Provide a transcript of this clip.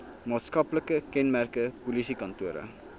maatskaplike kenmerke polisiekantore